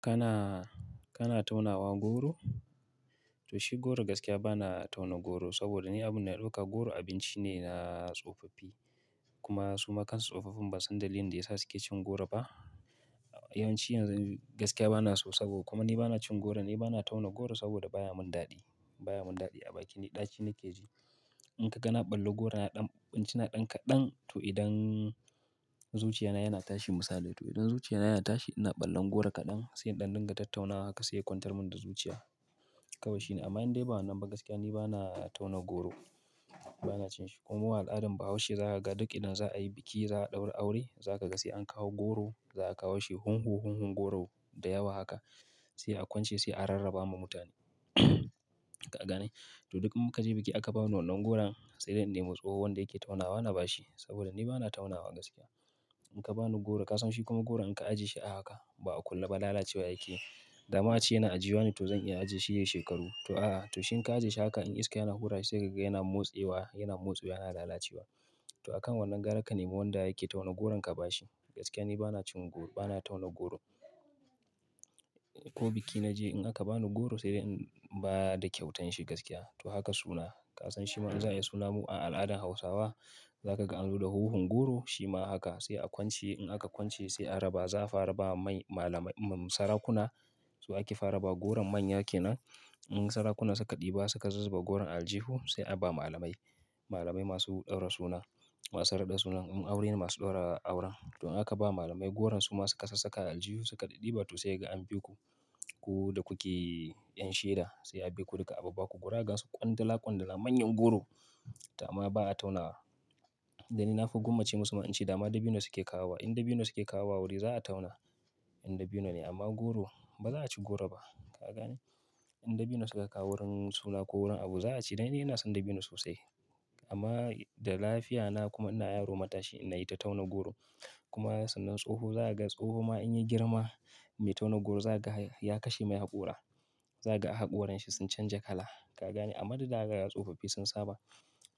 Kana, kana taunawa goro? To shi goro gaskiya bana tauna goro saboda ni abun da ya dauka goro abinci ne na tsofaffi. Kuma suma kansa tsofaffin ba san dalilin da ya sa suke cin goro ba. Yawanci yanzu gaskiya bana so saboda kuma ni bana cin goro, ni bana tauna goro saboda baya mun daɗi. Baya mun daɗi a bakin ni, ɗaci nake ji. In ka ga na ɓalle goro na ɗan, ɓan ci na ɗan kaɗan to idan zuciya na yana tashi misali to idan zuciya na yana tashi ina ɓallen goro kaɗan sai ɗanɗan ga tattaunawa haka sai ya kwantar mun da zuciya. Kawai shine amma indai bana nan ba gaskiya ni bana tauna goro. Bana cin shi kuma al'adar bahaushe za ka ga duk idan za a yi biki, za a ɗaura aure, za ka ga sai an kawo goro. Za a kawo shi hunhu hunhun goro da yawa haka sai a kwance sai a rarraba ma mutane. Ka gane? To duk in ka je biki aka ba mu wannan goron sai dai in nemi tsohon wanda yake taunawa na bashi saboda ni bana taunawa gaskiya. In ka ba ni goro ka san shi kuma goro in ka ajiye shi ahaka ba a kulle ba lalacewa yake. Da ma ce yana ajiyuwa ne to zan iya ajiye shi shekaru. To a'a, to shin ka ajiye shi haka in iska yana hura sai ka ga yana motse wa, yana motse wa yana lalacewa. To akan wannan gara ka nemi wanda yake tauna goron ka ba shi. Gaskiya ni bana cin goro, bana tauna goro. Ko biki na je in aka ba ni goro sai dai in ba da kyautan shi gaskiya. To haka suna, ka san shi ma an saya suna mu a al'adar Hausawa. Za ka ga an zo da huhun goro shi ma haka sai a kwance. In aka kwance sai a raba za a fara ba mai malamai, mmh, sarakuna. To ake fara ba goron manya ke nan. In sarakuna suka ɗiba suka zubar goron aljihu sai a ba malamai. Malamai masu ɗaura suna, masu raɗa suna, mmh, aure masu ɗaura auren. To in aka ba malamai goron su ma suka sassaka aljihu suka ɗiɗiba to sai ga an biku. Ku da ku ke yan shaida sai a bi ku duka abba baku goro ga su kwandala kwandala manyan goro. Amma ba na taunawa. Dan ni na fi gwammace musu ma in ce dama dabino suke kawo wa. In dabino suke kawo wa aure za a tauna, in dabino ne amma goro ba za a ci goro ba. Ka gane? In dabino suka kawo wurin suna ko wurin abu za a ci dan ni ina son dabino sosai. Amma da lafiya na kuma ina yaro matashi na yi ta tauna goro. Kuma sannan tsoho za a ga tsoho ma in ya girma, me tauna goro za ka ga ya kashe mai haƙora. Za ka ga haƙoran shi sun canja kala. Ka gane? Amma duk da haka tsofaffi sun saba.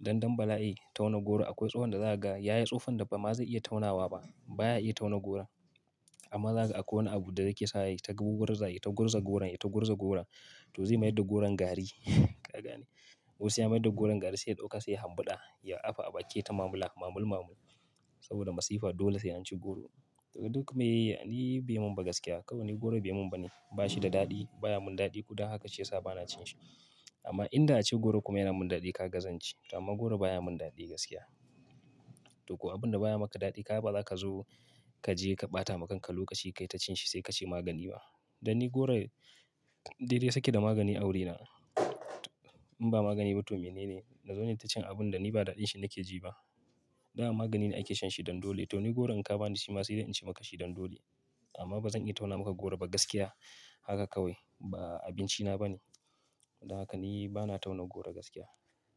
Dan dan bala'i tauna goro akwai tsohon da za a ga yayi tsufan da ba ma zai iya taunawa ba. Baya iya tauna goro. Amma za ka ga akwai wani abu da yake sa ya yi tagugurza, ya tagurza goron, ya tagurza goron to zai mayar da goron gari. Ka gane? Ko sai ya mayar da goron gari sai ya dauka sai ya hambuda ya afa a baki ya ta mamula, mamul mamul. Saboda masifa dole sai an ci goro. Duk me yi, ni bai mun ba gaskiya. Kawai ni goro bai mun ba ne. Ba shi da daɗi, baya mun daɗi kuda haka ce ya sa bana cin shi. Amma in da'a ce goro kuma yana mun daɗi kaga zanci. Amma goro baya mun daɗi gaskiya. To ko abin da baya maka daɗi ka ga baza ka zo ka je ka ɓata ma kanka lokaci ka ta cin shi sai ka ce magani ba. Dan ni goro dai dai suke da magani a wuri na. To In ba magani ba to menene? Na zo nayi ta cin abun da ni ba daɗin shi nake ji ba. Dama magani ne ake shan shi dan dole. To ni goro in ka ba ni shi ma sai dai in ci maka shi dan dole. Amma ba zan iya tauna maka goro ba gaskiya. Haka kawai ba abinci na ba ne. Dan haka ni bana tauna goro gaskiya.